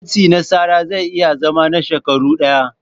Matsi na tsara zai iya zama na shekaru ɗaya.